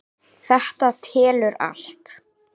Þetta telur allt.